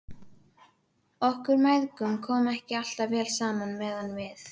Okkur mæðgum kom ekki alltaf vel saman meðan við